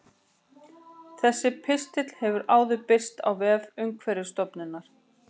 Þessi pistill hefur áður birst á vef Umhverfisstofnunar.